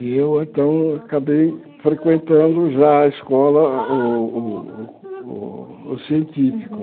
E eu, então, acabei frequentando já a escola, o o o científico.